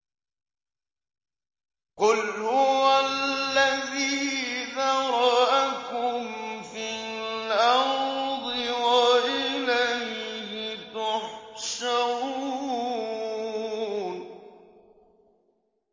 قُلْ هُوَ الَّذِي ذَرَأَكُمْ فِي الْأَرْضِ وَإِلَيْهِ تُحْشَرُونَ